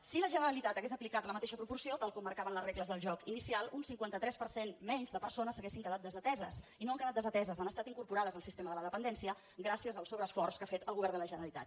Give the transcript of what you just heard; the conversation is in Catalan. si la generalitat hagués aplicat la mateixa proporció tal com marcaven les regles del joc inicial un cinquanta tres per cent menys de persones haurien quedat desateses i no han quedat desateses han estat incorporades al sistema de la dependència gràcies al sobreesforç que ha fet el govern de la generalitat